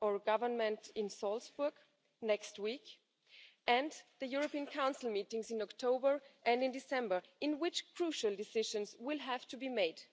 or Government in Salzburg next week and the European Council meetings in October and December in which crucial decisions will have to be